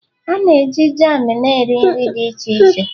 A na-eji jam na nri nri dị iche iche